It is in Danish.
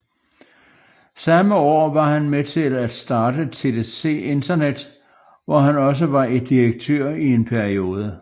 Samme år var han med til at starte TDC Internet hvor han også var direktør i en periode